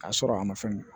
K'a sɔrɔ a ma fɛn min